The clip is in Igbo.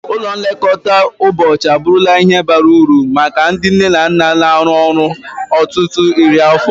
Ụlọ nlekọta ụbọchị abụrụla ihe bara uru maka ndị nne na nna na-arụ ọrụ ruo ọtụtụ iri afọ.